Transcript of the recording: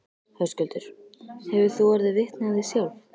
Höskuldur: Hefur þú orðið vitni af því sjálf?